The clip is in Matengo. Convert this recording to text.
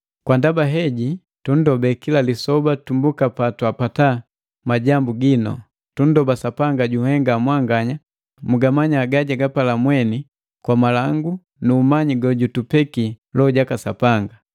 Kwa ndaba heji tundobe kila lisoba tumbuka patwapata majambu ginu. Tundoba Sapanga junhenga mwanganya mugamanya gajagapala mweni kwa malangu nu umanyi gojutupeki Loho jaka Sapanga.